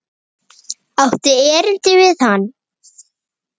Áttu erindi við hann?